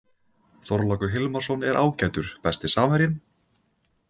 Þorlákur Hilmarsson er ágætur Besti samherjinn?